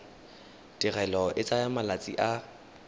tirelo e tsaya malatsi a